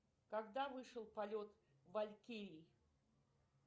когда вышел полет валькирий